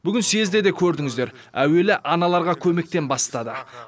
бүгін съезде де көрдіңізідер әуелі аналарға көмектен бастады